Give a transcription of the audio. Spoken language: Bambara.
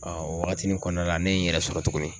Ɔɔ o wagatinin kɔnɔna la ne ye n yɛrɛ sɔrɔ tuguni